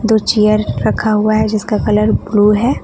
दो चेयर रखा हुआ है जिसका कलर ब्लू है।